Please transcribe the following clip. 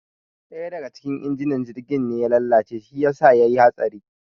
ɗaya daga cikin injinan jirgin ne ya lalace shi yasa yayi hatsari